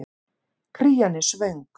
Krían er svöng.